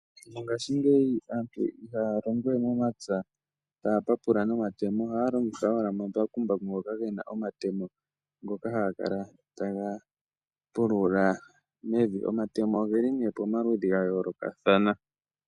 Mongaashingeyi aantu ihaya longo we momapya taya papula nomatemo, ohaya longitha owala omambakumbaku ngoka ge na omatemo ngoka haga kala taga pulula mevi. Omatemo oge li nee pomaludhi ga yoolokathana.